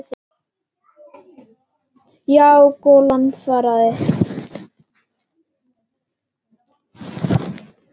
Já, golan svaraði hann.